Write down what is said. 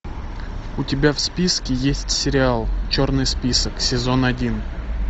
у тебя в списке есть сериал черный список сезон один